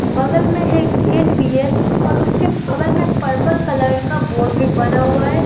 बगल में एक गेट भीं है और उसके बगल में पर्पल कलर का बोर्ड भीं बना हुआ है।